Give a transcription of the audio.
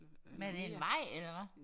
Men er det en vej eller hvad?